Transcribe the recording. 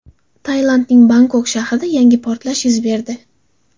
Tailandning Bangkok shahrida yangi portlash yuz berdi.